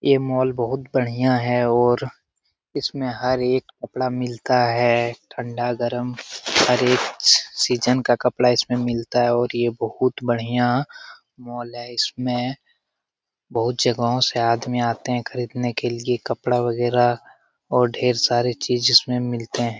ये मोल के अंदर बहुत बढ़िया है और इसमें हर एक कपड़ा मिलता है ठंडा गरम हर एक सीजन का कपड़ा इसमें मिलता है और ये एक बहुत बढ़िया मोल है इसमें बहुत जगह से आदमी आते हैं खरीदने के लिए कपड़ा वगैरा और ढेर सारे चीज इसमें मिलते हैं।